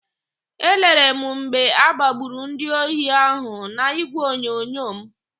Elere m mgbe agbagburu ndị ohi ahụ n'ígwèonyonyo m.